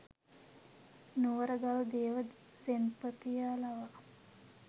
නුවරගල් දේව සෙන්පතියා ලවා